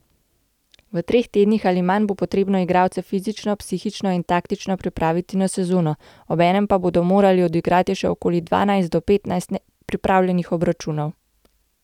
V treh tednih ali manj bo potrebno igralce fizično, psihično in taktično pripraviti na sezono, obenem pa bodo morali odigrati še okoli dvanajst do petnajst pripravljalnih obračunov.